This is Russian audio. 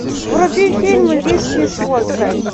вруби фильм виски с водкой